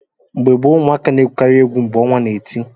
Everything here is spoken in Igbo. Mgbe gboo, ụmụaka na-egwukarị egwu mgbe ọnwa na-eti.